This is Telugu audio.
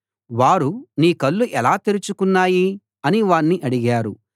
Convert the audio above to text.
వారు నీ కళ్ళు ఎలా తెరుచుకున్నాయి అని వాణ్ణి అడిగారు